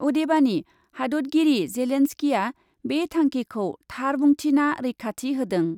अदेबानि हादतगिरि जेलेन्सकीआ बे थांखिखौ थार बुंथिना रैखाथि होदों ।